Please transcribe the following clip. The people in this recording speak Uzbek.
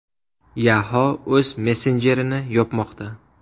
Yahoo o‘z messenjerini yopmoqda.